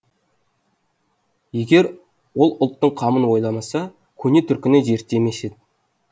егер ол ұлттың қамын ойламаса көне түркіні зерттемес еді